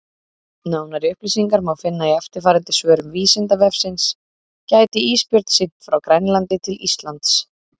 Nánari upplýsingar má finna í eftirfarandi svörum Vísindavefsins: Gæti ísbjörn synt frá Grænlandi til Íslands?